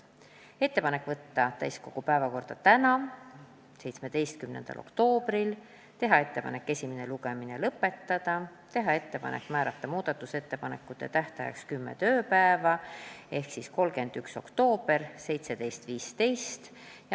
Tegime ettepanekud saata eelnõu täiskogu päevakorda tänaseks, 17. oktoobriks, esimene lugemine lõpetada ja määrata muudatusettepanekute esitamise tähtajaks kümme tööpäeva ehk 31. oktoober kell 17.15.